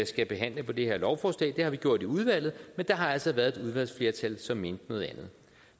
skal behandle på det her lovforslag det har vi gjort i udvalget men der har altså været et udvalgsflertal som mente noget andet